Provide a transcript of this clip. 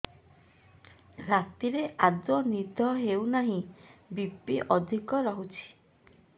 ରାତିରେ ଆଦୌ ନିଦ ହେଉ ନାହିଁ ବି.ପି ଅଧିକ ରହୁଛି